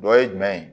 Dɔ ye jumɛn ye